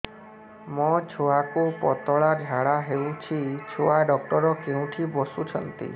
ମୋ ଛୁଆକୁ ପତଳା ଝାଡ଼ା ହେଉଛି ଛୁଆ ଡକ୍ଟର କେଉଁଠି ବସୁଛନ୍ତି